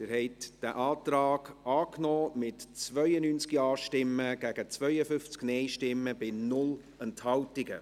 Sie haben diesen Antrag angenommen, mit 92 Ja- gegen 52 Nein-Stimmen bei 0 Enthaltungen.